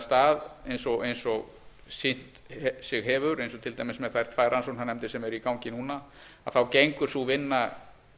stað eins og hefur sýnt sig eins og til dæmis með þær tvær rannsóknarnefndir sem eru í gangi núna þá gengur sú vinna